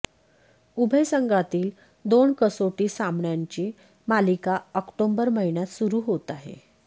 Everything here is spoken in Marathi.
उभय संघातील दोन कसोटी सामन्यांची मालिका ऑक्टोबर महिन्यात सुरू होत आहे